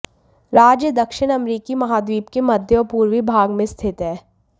राज्य दक्षिण अमेरिकी महाद्वीप के मध्य और पूर्वी भाग में स्थित है